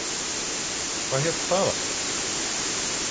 Hvað hét það aftur?